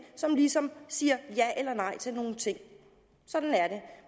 som ligesom siger ja eller nej til nogle ting sådan